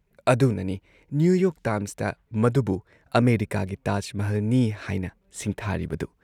ꯑꯗꯨꯅꯅꯤ New York ꯇꯥꯏꯝꯁꯇ, ꯃꯗꯨꯕꯨ ꯑꯃꯦꯔꯤꯀꯥꯒꯤ ꯇꯥꯖ ꯃꯍꯜꯅꯤ ꯍꯥꯏꯅ ꯁꯤꯡꯊꯥꯔꯤꯕꯗꯨ ꯫